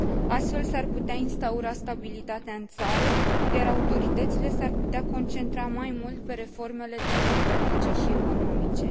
Astfel, s ar putea instaura stabilitatea în țară, iar autoritățile s ar putea concentra mai mult pe reformele democratice și economice.